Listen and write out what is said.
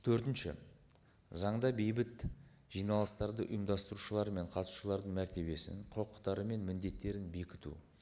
төртінші заңда бейбіт жиналыстарды ұйымдастырушылар мен қатысушылардың мәртебесін құқықтары мен міндеттерін бекіту